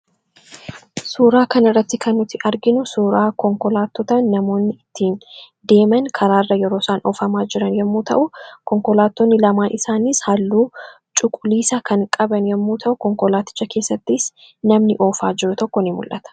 Suuraa kanarratti kan nuti arginu suuraa konkolaattota namoonni ittiin deeman karaarra yeroo isaan oofamaa jiran yemmuu ta'u, konkolaattonni lamaan isaaniis halluu cuquliisa kan qaban yommuu ta'u, konkolaaticha keessattis namni oofaa jiru tokko ni mul'ata.